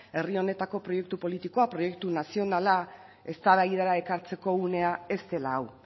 herri honetako proiektu politikoa proiektu nazionala eztabaidara ekartzeko unea ez dela hau